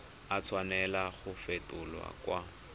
a tshwanela go fetolwa kwa